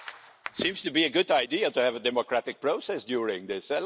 It seems to be a good idea to have a democratic process during this.